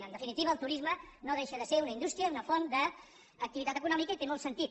en definitiva el turisme no deixa de ser una indústria una font d’activitat econòmica i té molt sentit